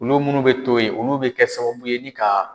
Olu munnu bɛ to yen olu bɛ kɛ sababu ye ni ka